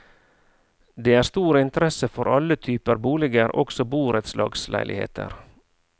Det er stor interesse for alle typer boliger, også borettslagsleiligheter.